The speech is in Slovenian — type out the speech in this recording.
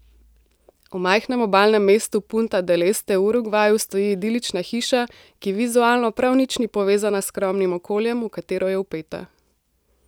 V majhnem obalnem mestu Punta del Este v Urugvaju stoji idilična hiša, ki vizualno prav nič ni povezana s skromnim okoljem, v katero je vpeta.